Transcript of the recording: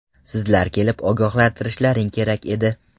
Sizlar kelib ogohlantirishlaring kerak edi.